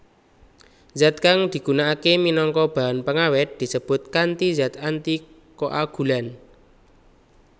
Zat kang digunakake minangka bahan pengawet disebut kanti zat antikoagulan